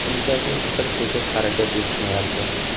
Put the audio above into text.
Shunchaki bir tekis harakat yetishmayapti.